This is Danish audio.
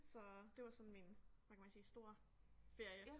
Så det var sådan min hvad kan man sige store ferie